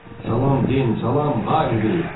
Salam Den, salam Harvi.